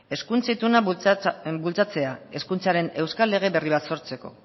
hezkuntza ituna bultzatzea hezkuntzaren euskal lege berri bat sortzeko